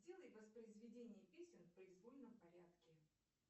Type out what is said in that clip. сделай воспроизведение песен в произвольном порядке